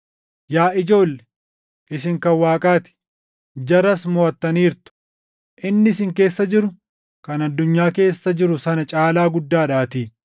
Yaa ijoolle, isin kan Waaqaa ti; jaras moʼattaniirtu; inni isin keessa jiru kan addunyaa keessa jiru sana caalaa guddaadhaatii.